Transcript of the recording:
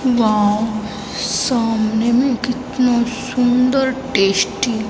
wow सामने में कितना सुंदर टेस्टी --